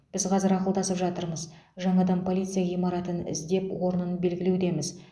біз қазір ақылдасып жатырмыз жаңадан полиция ғимаратын іздеп орнын белгілеудеміз